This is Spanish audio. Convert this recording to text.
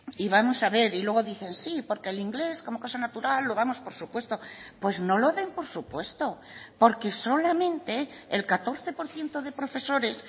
y vamos a ver y luego dicen sí porque el inglés como cosa natural lo damos por supuesto pues no lo den por supuesto porque solamente el catorce por ciento de profesores